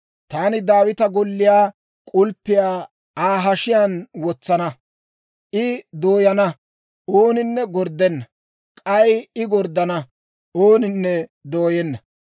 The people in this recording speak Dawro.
Taani Daawita golliyaa k'ulppiyaa Aa hashiyaan wotsana; I dooyana; ooninne gorddenna; k'ay I gorddana; ooninne dooyenna.